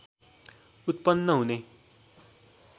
उत्पन्न हुने